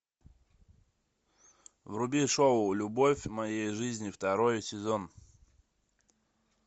вруби шоу любовь моей жизни второй сезон